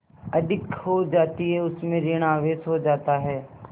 अधिक हो जाती है उसमें ॠण आवेश हो जाता है